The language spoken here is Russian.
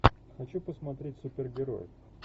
хочу посмотреть супергероев